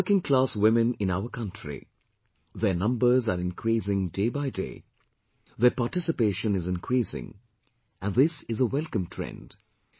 The workingclass women in our country their numbers are increasing day by day, their participation is increasing and this is a welcome trend